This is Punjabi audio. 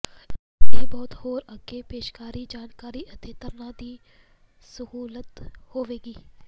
ਇਹ ਬਹੁਤ ਹੋਰ ਅੱਗੇ ਪੇਸ਼ਕਾਰੀ ਜਾਣਕਾਰੀ ਅਤੇ ਧਾਰਨਾ ਦੀ ਸਹੂਲਤ ਹੋਵੇਗੀ